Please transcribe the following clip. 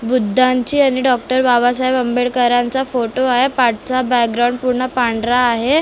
बुद्धांची आणि डॉक्टर बाबासाहेब आंबेडकरांचा फोटो आहे पाठचा बॅकग्राऊंड पूर्ण पांढरा आहे.